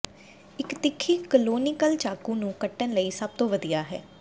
ਇੱਕ ਤਿੱਖੀ ਕਲੋਨੀਕਲ ਚਾਕੂ ਨੂੰ ਕੱਟਣ ਲਈ ਸਭ ਤੋਂ ਵਧੀਆ ਹੈ